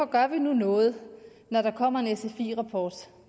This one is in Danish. gør noget når der kommer en sfi rapport